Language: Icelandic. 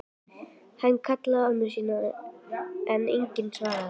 Hann kallaði á ömmu sína en enginn svaraði.